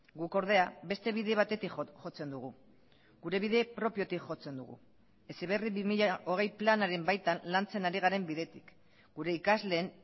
guk ordea beste bide batetik jotzen dugu gure bide propiotik jotzen dugu heziberri bi mila hogei planaren baitan lantzen ari garen bidetik gure ikasleen